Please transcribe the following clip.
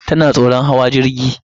Tana tsoron hawa jirgi.